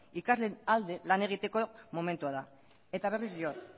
ikasleen alde lan egiteko momentua da eta berriz diot